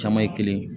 Caman ye kelen ye